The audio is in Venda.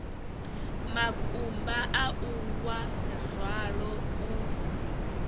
makumba au wa ralo u